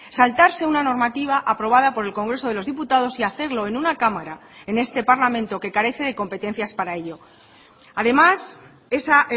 saltarse una normativa aprobada por el congreso de los diputados y hacerlo en una cámara en este parlamento que carece de competencias para ello además esa